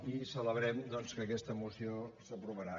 i celebrem doncs que aquesta moció s’aprovarà